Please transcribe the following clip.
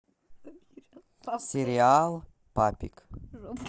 сериал папик